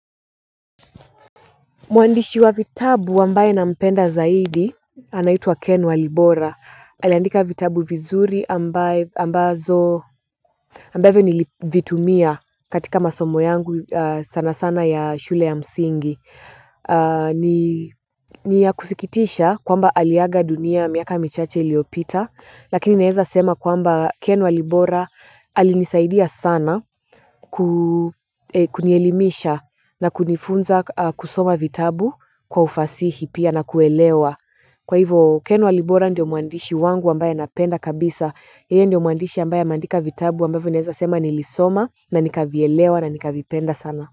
Mwandishi wa vitabu ambaye nampenda zaidi, anaitwa Ken Walibora. Aliandika vitabu vizuri ambavyo nilivitumia katika masomo yangu sanasana ya shule ya msingi ni ya kusikitisha kwamba aliaga dunia miaka michache iliopita, lakini naeza sema kwamba Ken Walibora alinisaidia sana kunielimisha na kunifunza kusoma vitabu kwa ufasihi pia na kuelewa. Kwa hivo Ken Walibora ndio mwandishi wangu ambaye napenda kabisa. Yeye ndio mwandishi ambaye ameandika vitabu ambavyo naweza sema nilisoma na nikavielewa na nikavipenda sana.